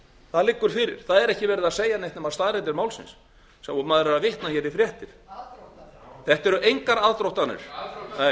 það liggur fyrir það er ekki verið að segja neitt nema staðreyndir málsins sem maður er að vitna hér í fréttir aðdróttanir þetta eru engar aðdróttanir aðdróttanir